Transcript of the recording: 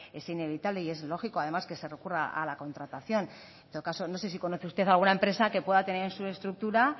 es inevitable y es lógico además que se recurra a la contratación en todo caso no sé si conoce usted alguna empresa que pueda tener en su estructura